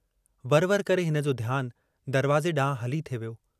वर-वर करे हिनजो ध्यानु दरवाज़े डांहुं हली थे वियो।